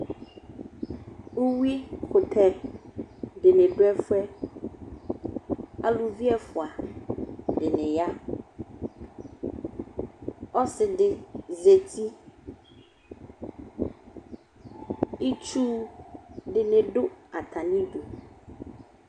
Uyuikʋtɛ dɩnɩ dʋ ɛfʋɛ : aluvi ɛfʋa dɩnɩ ya Ɔsɩdɩ zati, itsu dɩnɩ dʋ atamidu